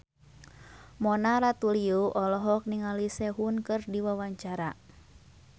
Mona Ratuliu olohok ningali Sehun keur diwawancara